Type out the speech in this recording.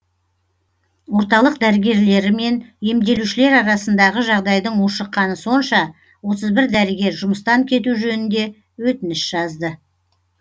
орталық дәрігерлері мен емделушілер арасындағы жағдайдың ушыққаны сонша отыз бір дәрігер жұмыстан кету жөнінде өтініш жазды